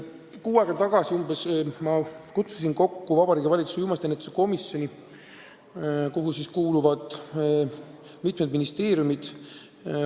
Umbes kuu aega tagasi ma kutsusin kokku Vabariigi Valitsuse uimastiennetuse komisjoni, kuhu kuuluvad mitme ministeeriumi esindajad.